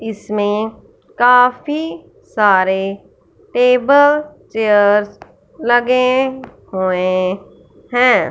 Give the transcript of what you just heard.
इसमें काफी सारे टेबल चेयर्स लगे हुए हैं।